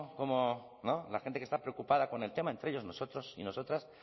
como la gente que está preocupada con el tema entre ellos nosotros y nosotras